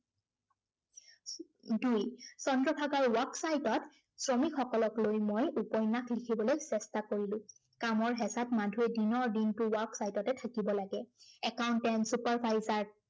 দুই, চন্দ্ৰভাগাৰ work sight ত শ্ৰমিকসকলক লৈ মই উপন্য়াস লিখিবলৈ চেষ্টা কৰিলো। কামৰ হেঁচাত মাধুৱে দিনৰ দিনটো work sight তে থাকিব লাগে। accountanat, superviser